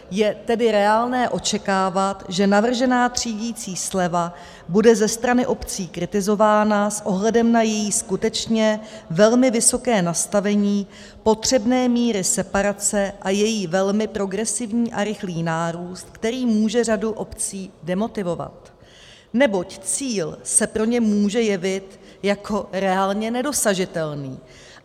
Je tedy reálné očekávat, že navržená třídicí sleva bude ze strany obcí kritizována s ohledem na její skutečně velmi vysoké nastavení potřebné míry separace a její velmi progresivní a rychlý nárůst, který může řadu obcí demotivovat, neboť cíl se pro ně může jevit jako reálně nedosažitelný.